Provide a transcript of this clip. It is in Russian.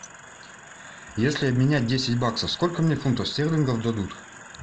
если обменять десять баксов сколько мне фунтов стерлингов дадут